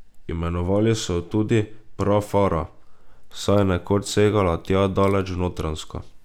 Imenovali so jo tudi prafara, saj je nekoč segala tja daleč v Notranjsko.